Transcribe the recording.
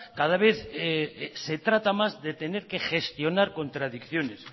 cada vez se trata más de tener que gestionar contradicciones